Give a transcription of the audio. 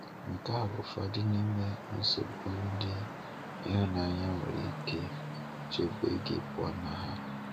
Nke a bụ ụfọdụ n’ime nsogbu ndị ịhụnanya nwere ike chebe gị pụọ na ha.